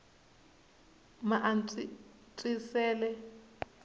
maantswisele